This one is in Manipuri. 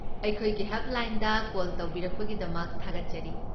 ꯑꯩꯈꯣꯏꯒꯤ ꯍꯦꯜꯞꯂꯥꯏꯟꯗ ꯀꯣꯜ ꯇꯧꯕꯤꯔꯛꯄꯒꯤꯗꯃꯛ ꯊꯥꯒꯠꯆꯔꯤ꯫